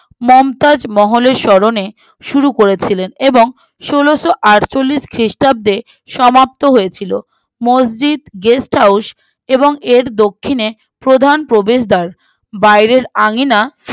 মমতাজ মহলের স্বরণে শুরু করেছিলেন এবং ষোলোআটচল্লিশ খ্রিস্টাব্দে সমাপ্ত হয়েছিল মসজিদ guesthouse এবং এর দক্ষিণে প্রধান প্রবেশদ্বার বাইরের আঙিনা